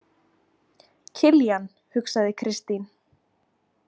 Kiljan, hugsaði Kristín.